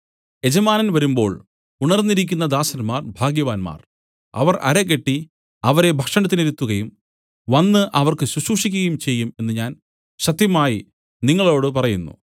യജമാനൻ വരുമ്പോൾ ഉണർന്നിരിക്കുന്ന ദാസന്മാർ ഭാഗ്യവാന്മാർ അവൻ അരകെട്ടി അവരെ ഭക്ഷണത്തിനിരുത്തുകയും വന്നു അവർക്ക് ശുശ്രൂഷിക്കുകയും ചെയ്യും എന്നു ഞാൻ സത്യമായി നിങ്ങളോടു പറയുന്നു